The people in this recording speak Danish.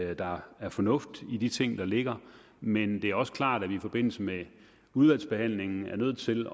at der er fornuft i de ting der ligger men det er også klart at vi i forbindelse med udvalgsbehandlingen er nødt til